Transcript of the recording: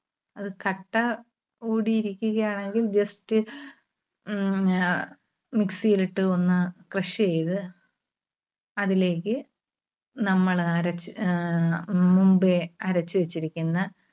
അത് കട്ട കൂടി ഇരിക്കുകയാണെങ്കിൽ just മ്ഹാ mixie ൽ ഇട്ട് ഒന്ന് crush ചെയ്‌ത്‌ അതിലേക്ക് നമ്മള് അരച്ച് ആഹ് മുൻപേ അരച്ച് വെച്ചിരിക്കുന്ന